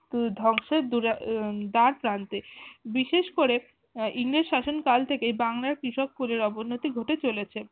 ধ্বংসের দুরায়ন ধার প্রান্তে। বিশেষ করে আহ ইংরেজ শাসন থেকে বাংলার কৃষক কুলের অবন্নতি ঘটে চলেছে।